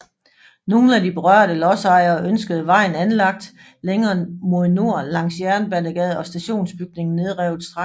Nogle af de berørte lodsejere ønskede vejen anlagt længere mod nord langs Jernbanegade og stationsbygningen nedrevet straks